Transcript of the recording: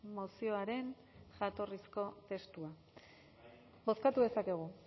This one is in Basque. mozioaren jatorrizko testua bozkatu dezakegu